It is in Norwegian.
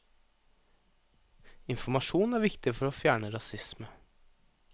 Informasjon er viktig for å fjerne rasisme.